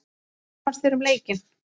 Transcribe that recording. Hvað fannst þér um leikinn?